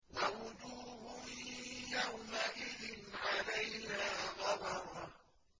وَوُجُوهٌ يَوْمَئِذٍ عَلَيْهَا غَبَرَةٌ